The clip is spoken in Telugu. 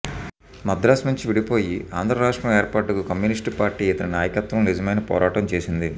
మద్రాసు నుంచి విడిపోయి ఆంధ్రరాష్ట్రం ఏర్పాటుకు కమ్యూనిస్టు పార్టీ ఇతని నాయకత్వంలో నిజమైన పోరాటం చేసింది